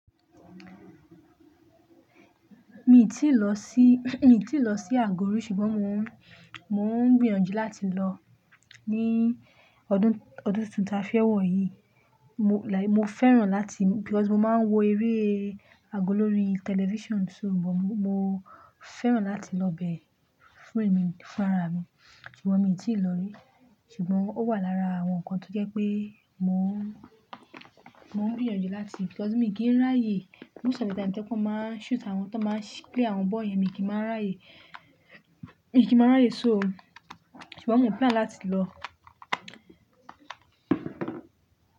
Mi tíì lọ sí, mi ò tíì lọ sí àgọ̀ rí ṣùgbọ́n mò ń, mò ń gbìyànjú láti lọ ní ọdún, ọdún tuntun ta fẹ́ wọ̀ yìí. Mo like, mo fẹ́ràn láti-- because mo máa ń wo eré àgọ́ lórí television, so mo, mo fẹ́ràn láti lọ bẹ fún èmi, fún ara mi. Ṣùgbọ́n mi ò tíì lọ rí. Ṣùgbọ́n ó wà lára àwọn nǹkan tó jẹ́ pé mò ń, mò ń gbìyànjú láti-- because mi kì í ráyè. Most of the time tó jẹ́ pé wọ́n máa ń shoot àwọn tí wọ́n máa ń play àwọn bọ́ọ̀ yẹn, mi kì í máa ráyè. Mi kì í máa ráyè so. Ṣùgbọ́n mo plàn láti lọ.